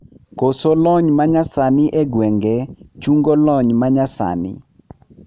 Koso yor lony manyasani egwenge chungo lony manyasani.